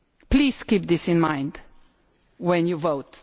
Please keep this in mind when you vote.